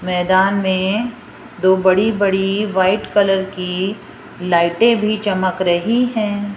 मैदान में दो बड़ी बड़ी व्हाइट कलर की लाइटें भी चमक रही है।